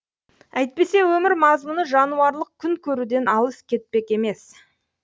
әйтпесе өмір мазмұны жануарлық күн көруден алыс кетпек емес